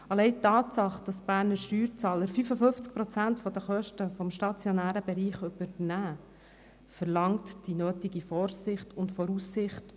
Allein die Tatsache, dass die Berner Steuerzahler 55 Prozent der Kosten des stationären Bereichs übernehmen, verlangt nach Vorsicht und Voraussicht.